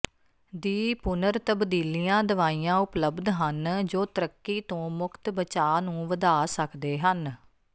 ਦੀ ਪੁਨਰ ਤਬਦੀਲੀਆਂ ਦਵਾਈਆਂ ਉਪਲਬਧ ਹਨ ਜੋ ਤਰੱਕੀ ਤੋਂ ਮੁਕਤ ਬਚਾਅ ਨੂੰ ਵਧਾ ਸਕਦੇ ਹਨ